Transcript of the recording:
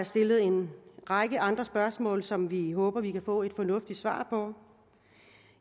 stillet en række andre spørgsmål som vi håber at vi kan få et fornuftigt svar på